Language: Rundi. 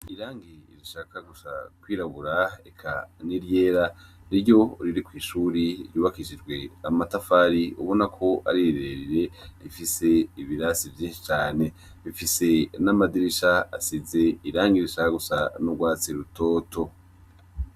Irangi rishaka gusa kwirabura eka n' iryera niryo riri kwishure ryubakishijwe n' amatafari ubona ari rire rire rifise ibirasi vyinshi cane rifise n' amadirisha asize irangi rishaka gusa n' ugwatsi rutoto.